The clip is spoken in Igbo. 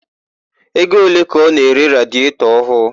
Ego ole ka ọ na-ere radietọ ọhụụ?